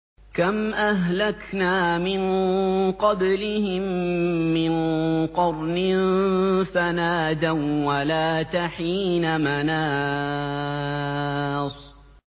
كَمْ أَهْلَكْنَا مِن قَبْلِهِم مِّن قَرْنٍ فَنَادَوا وَّلَاتَ حِينَ مَنَاصٍ